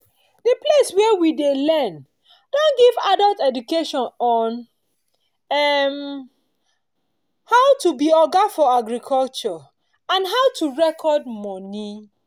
the place wey we dey learn don give adult education on um how to be oga for agriculture and how to record money